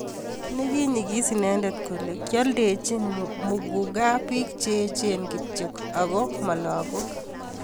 nekiinyekis inende kole kioldochini muguka biik che echen kityo ako mo lakoik